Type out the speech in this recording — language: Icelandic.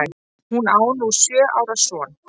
Hún á nú sjö ára son.